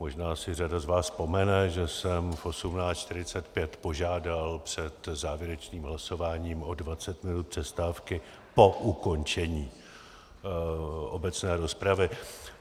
Možná si řada z vás vzpomene, že jsem v 18.45 požádal před závěrečným hlasováním o 20 minut přestávky po ukončení obecné rozpravy.